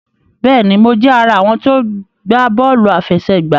Béèni, Mo jé ará àwọn tí o gbà bóòlù àfẹsẹ̀gbá